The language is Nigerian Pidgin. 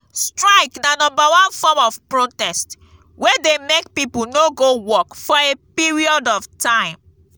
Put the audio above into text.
strike na number one form of protest wey de make pipo no go work for a period of time